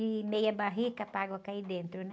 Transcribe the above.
E meia barrica para água cair dentro, né?